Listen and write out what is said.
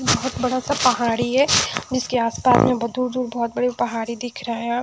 बहुत बड़ा सा पहाड़ी है जिसके आस पास में बहुत दूर दूर बहुत बड़ी पहाड़ी दिख रहा है।